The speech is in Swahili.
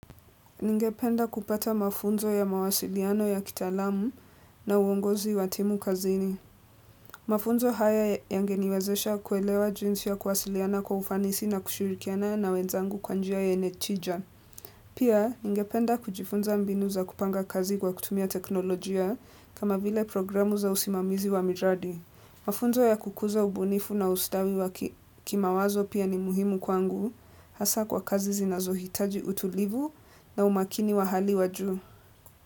Ningependa kupata mafunzo ya mawasiliano ya kitaalamu na uongozi wa timu kazini. Mafunzo haya yangeniwezesha kuelewa jinsi ya kuwasiliana kwa ufanisi na kushirikiana na wenzangu kwa njia yenye chija. Pia, ningependa kujifunza mbinu za kupanga kazi kwa kutumia teknolojia, kama vile programu za usimamizi wa miradi. Mafunzo ya kukuza ubunifu na ustawi wa kimawazo pia ni muhimu kwangu. Hasa kwa kazi zinazohitaji utulivu na umakini wa hali wa juu.